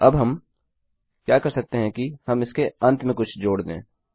अब हम क्या कर सकते हैं कि हम इसके अंत में कुछ जोड़ दें